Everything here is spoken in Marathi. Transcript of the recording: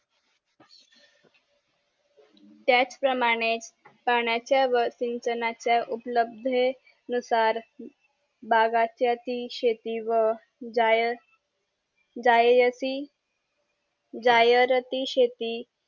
त्याच प्रमाणे पाण्याचा व सिंचनाच्या उपलभे नुसार बागांच्याती शेती व जाय जाययाति जयरती शेती